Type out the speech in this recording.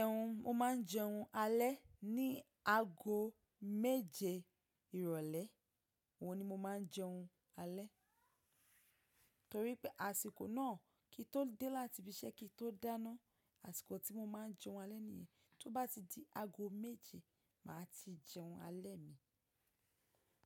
Ẹhun, mo máa ń jẹun alẹ́ ní aago méje ìrọ̀lẹ́, ohun ní mo máa ń jẹun alẹ́ torí pé àsìkò náà kí i tó dé láti ibi iṣẹ́ kí i tó dáná, àsìkò tí mo máa ń jẹun alẹ́ nìyẹn. Tó bá ti di aago méje, màá ti jẹun alẹ́ mi.